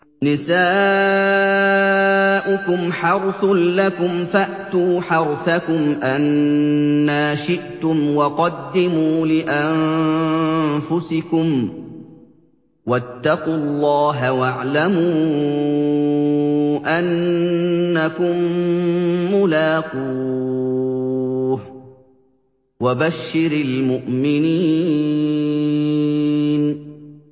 نِسَاؤُكُمْ حَرْثٌ لَّكُمْ فَأْتُوا حَرْثَكُمْ أَنَّىٰ شِئْتُمْ ۖ وَقَدِّمُوا لِأَنفُسِكُمْ ۚ وَاتَّقُوا اللَّهَ وَاعْلَمُوا أَنَّكُم مُّلَاقُوهُ ۗ وَبَشِّرِ الْمُؤْمِنِينَ